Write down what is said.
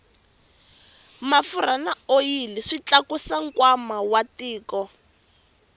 mafurha na oyili swi tlakusa nkwama wa tiko